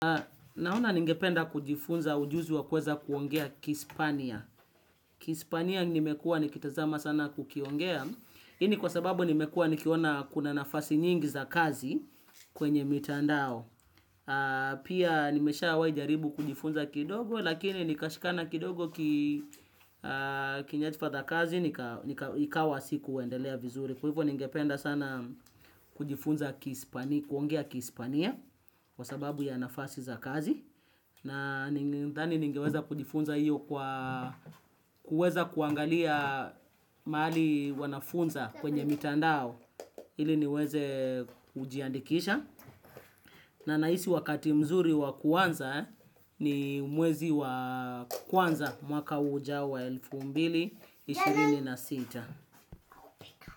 Naona ningependa kujifunza ujuzi wa kueza kuongea kispania. Kispania nimekua nikitazama sana kukiongea. Hii ni kwa sababu nimekuwa nikiona kuna nafasi nyingi za kazi kwenye mitandao. Pia nimesha wahi jaribu kujifunza kidogo lakini nikashikana kidogo kinyathifa za kazi nikawa si kuendelea vizuri. Kwa hivyo ningependa sana kujifunza kihispania kwa sababu ya nafasi za kazi. Na ninadhani ningeweza kujifunza hiyo kwa kuweza kuangalia mahali wanafunza kwenye mitandao ili niweze kujiandikisha. Na nahisi wakati mzuri wa kuanza ni mwezi wa kwanza mwaka ujao wa elfu mbili na ishirini na sita.